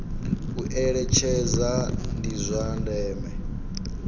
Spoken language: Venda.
u eletshedza ndi zwa ndeme